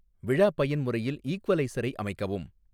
விழா பயன்முறையில் ஈக்வலைசரை அமைக்கவும்